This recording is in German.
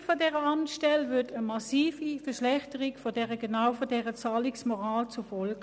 Die Schliessung der Amtsstelle hätte eine massive Verschlechterung der Zahlungsmoral zur Folge.